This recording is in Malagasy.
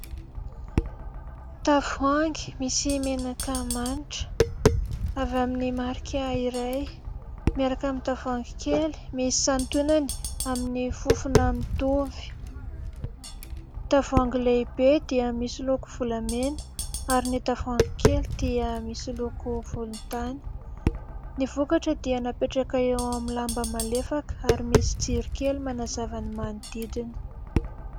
Tavoahangy misy menaka manitra, avy amin'ny marika iray ,miaraka amin'ny tavoahangy kely, misy santionany amin'ny fofona mitovy. Tavoahangy lehibe dia misy loko volamena ary ny tavoahangy kely dia misy loko volontany ; ny vokatra dia napetraka eo amin'ny lamba malefaka ary misy jiro kely manazava ny manodidina.